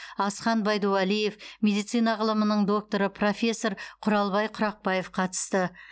асхан байдувалиев медицина ғылымының докторы профессор құралбай құрақбаев қатысты